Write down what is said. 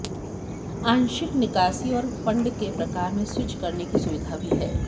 आंशिक निकासी और फंड के प्रकार में स्विच करने की सुविधा भी है